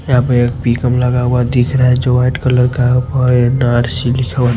यहां पे एक लगा हुआ दिख रहा है जो वाइट कलर का लिखा हुआ है।